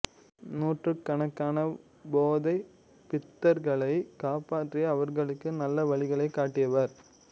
நூற்றுக்கணக்கான போதைப் பித்தர்களைக் காப்பாற்றி அவர்களுக்கு நல்ல வழிகளைக் காட்டியவர்